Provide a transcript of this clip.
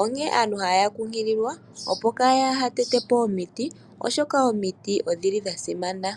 Onkene aantu otaya kunkililwa opo kaa ya tete po omiti oshoka omiti odhi li dha simana.